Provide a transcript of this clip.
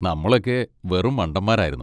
നമ്മളൊക്കെ വെറും മണ്ടന്മാരായിരുന്നു.